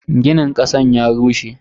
Ginin kasan ya rushe.